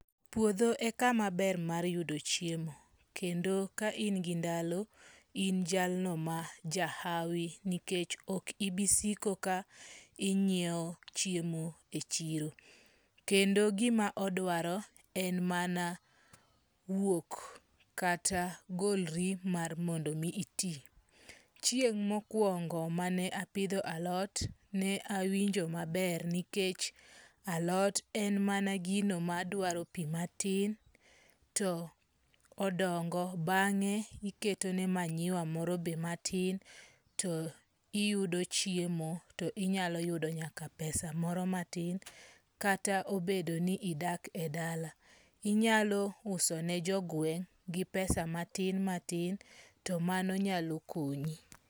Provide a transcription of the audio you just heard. Puodho e kamaber mar yudo chiemo. Kendo ka in gi ndalo, in jalno majahawi, nikech ok ibi siko ka ing'iewo chiemo e chiro. Kendo gima odwaro en mana wuok kata golri mar mondo mi iti. Chieng mokuongo mane apidho alot, ne awinjo maber nikech alot en mana gino madwaro pi matin, to odongo. Bang'e iketone manyiwa moro be matin to iyudo chiemo, to inyalo yudo nyaka pesa moro matin. Kata obedo ni idak edala, inyalo uso ni jogweng' gi pesa matin matin, to mano nyalo konyi.